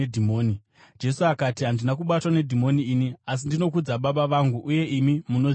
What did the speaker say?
Jesu akati, “Handina kubatwa nedhimoni ini, asi ndinokudza Baba vangu uye imi munondizvidza.